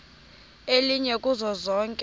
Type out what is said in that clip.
elinye kuzo zonke